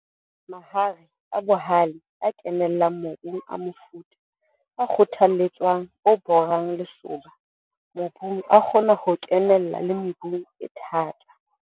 Mahare a bohale a kenellang mobung a mofuta o kgothalletswang o borang lesoba mobung a kgona ho kenella le mebung e thata.